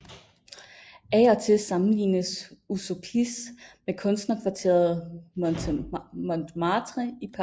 Af og til sammenlignes Užupis med kunstnerkvarteret Montmartre i Paris